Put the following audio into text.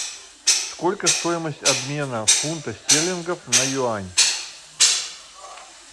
сколько стоимость обмена фунта стерлингов на юань